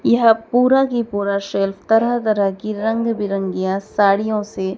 यह पूरा की पूरा शेल्फ तरह तरह की रंग बिरंगिया साड़ियों से।